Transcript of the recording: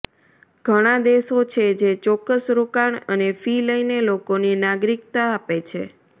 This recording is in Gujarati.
ઘણા દેશો છે જે ચોક્કસ રોકાણ અને ફી લઈને લોકોને નાગરિકતા આપે છે